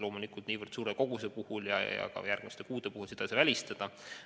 Loomulikult ei saa niivõrd suure koguse ja järgmiste kuude puhul seda välistada.